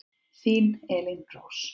Þín Elín Rós.